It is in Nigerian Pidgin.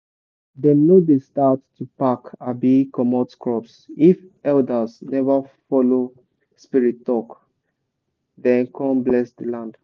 dem no dey start to pack abi comot crops if elders never follow spirits talk then con bless the land.